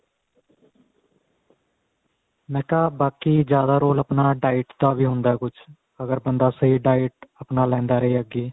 ਮੈ ਕਿਹਾ ਬਾਕੀ ਜਿਆਦਾ role ਆਪਣਾ diet ਦਾ ਵੀ ਹੁੰਦਾ ਕੁੱਝ ਅਗਰ ਬੰਦਾ ਸਹੀ diet ਆਪਣਾ ਲੈਂਦਾ ਰਹੇ ਅੱਗੇ